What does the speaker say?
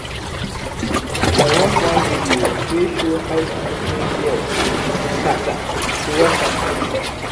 i watch one video wey show how to open shears scatter to wash am clean.